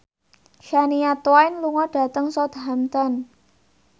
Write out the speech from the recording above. Shania Twain lunga dhateng Southampton